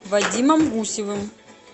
вадимом гусевым